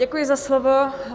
Děkuji za slovo.